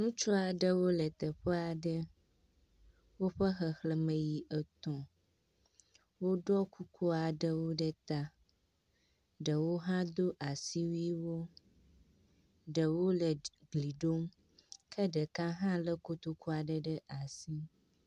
Ŋutsu aɖewo le teƒe aɖe. Woƒe xexleme yi etɔ̃. Wodo kuku aɖewo ɖe ta ɖewo hã ɖo asiwuiwo, ɖewo le gli ɖom ke ɖeka hã le kotoku aɖe ɖe asi.